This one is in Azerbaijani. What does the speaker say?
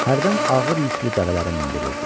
hərdən ağır yüklü dəvələrə mindirirdi.